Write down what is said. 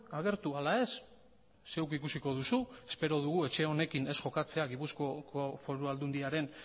agertu ala ez zeuk ikusiko duzu espero dugu etxe honekin ez jokatzea gipuzkoako